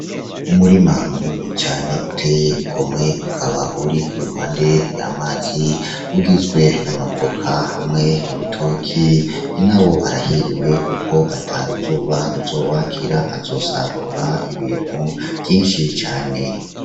Umurima munini cane uteye igomwe ukaba uri iruhande y'amazi ugizwe n'amavoka, hamwe n'ibitoki. Nyinawo arahiriwe kuko ataruzuba ruzowakira azosarurra ibintu vyinshi cane.